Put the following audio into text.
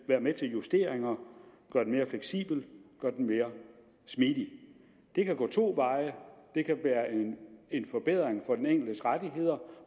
være med til justeringer og gøre den mere fleksibel mere smidig det kan gå to veje det kan være en forbedring af den enkeltes rettigheder